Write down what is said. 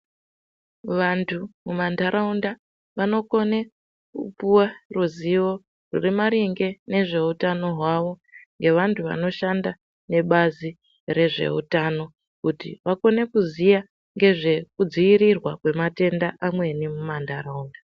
Vantu mumantaraunda vanokone kupuva ruzivo rwune maringe ngezvehutano hwavo. Ngevantu vanoshanda nebazi rezvehutano, kuti vakone kuzviya ngezvekudzivirirwa kwematenda amweni mumantaraunda.